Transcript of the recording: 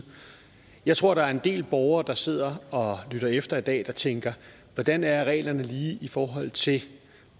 jeg tror der er en del borgere der sidder og lytter efter i dag der tænker hvordan er reglerne lige i forhold til